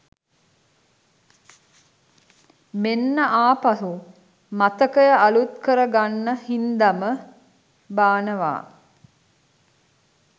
මෙන්න ආපහු මතකය අලුත් කර ගන්න හින්දම බානවා.